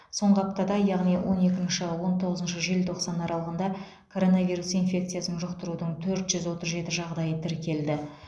соңғы аптада яғни он екінші он тоғызыншы желтоқсан аралығында коронавирус инфекциясын жұқтырудың төрт жүз отыз жеті жағдайы тіркелді